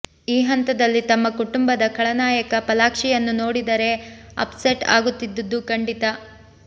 ಈ ಹಂತದಲ್ಲಿ ತಮ್ಮ ಕುಟುಂಬದ ಖಳನಾಯಕ ಫಾಲಾಕ್ಷಿಯನ್ನು ನೋಡಿದರೆ ಅಪ್ ಸೆಟ್ ಆಗುತ್ತಿದ್ದುದ್ದು ಖಂಡಿತ